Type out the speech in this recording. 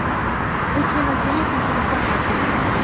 закинуть денег на телефон матери